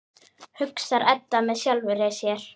hugsar Edda með sjálfri sér.